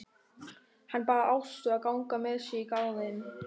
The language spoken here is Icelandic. Hann bað Ástu að ganga með sér í garðinn.